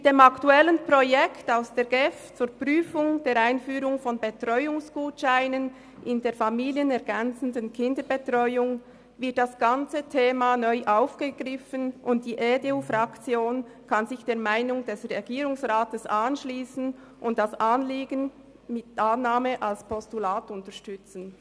Mit dem aktuellen Projekt aus der GEF zur Prüfung der Einführung von Betreuungsgutscheinen in der familienergänzenden Kinderbetreuung wird das ganze Thema neu aufgegriffen, und die EDU-Fraktion kann sich der Meinung des Regierungsrats anschliessen und das Anliegen mit Annahme als Postulat unterstützen.